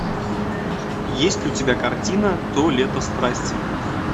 есть ли у тебя картина то лето страсти